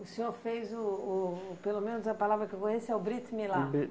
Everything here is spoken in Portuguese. O senhor fez o o... pelo menos a palavra que eu conheço é o Brit Milá.